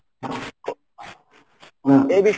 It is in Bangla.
এই বিষয়ে